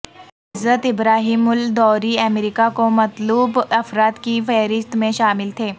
عزت ابراہیم الدوری امریکہ کو مطلوب افراد کی فہرست میں شامل تھے